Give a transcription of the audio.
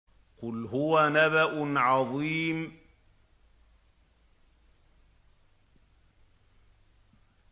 قُلْ هُوَ نَبَأٌ عَظِيمٌ